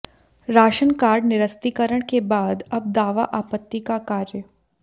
ration card निरस्तीकरण के बाद अब दावा आपत्ति का कार्य